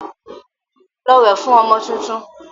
Lọ wẹ̀ fún ọmọ tuntun!